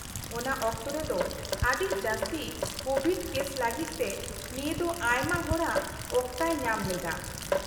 -ᱚᱱᱟ ᱚᱠᱛᱚ ᱨᱮᱫᱚ ᱟᱹᱰᱤ ᱡᱟᱹᱥᱛᱤ ᱠᱳᱵᱷᱤᱰ ᱠᱮᱥ ᱞᱟᱹᱜᱤᱫ ᱛᱮ ᱱᱤᱭᱟᱹ ᱫᱚ ᱟᱭᱢᱟ ᱦᱚᱲᱟᱜ ᱚᱠᱛᱟᱭ ᱧᱟᱢ ᱞᱮᱫᱟ ᱾